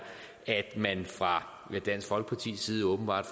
at man fra dansk folkepartis side åbenbart